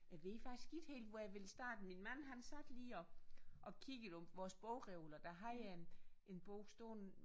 Jeg ved faktisk ikke helt hvor jeg ville starte min mand han sad lige og og kiggede på vores bogreoler der har jeg en en bog stående